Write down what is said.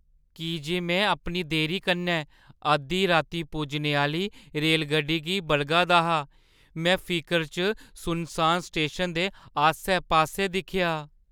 की जे में अपनी देरी कन्नै अद्धी रातीं पुज्जने आह्‌ली रेलगड्डी गी बलगा दा हा, में फिकरै च सुनसान स्टेशन दे आस्सै-पास्सै दिक्खेआ।